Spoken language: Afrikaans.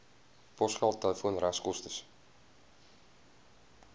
posgeld telefoon regskoste